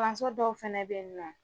dɔw fɛnɛ bɛ yen nɔ